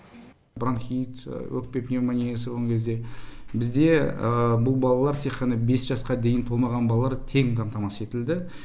бронхит өкпе пневмониясы болған кезде бізде бұл баллар тек қана бес жасқа дейін толмаған балалар тегін қамтамасыз етілді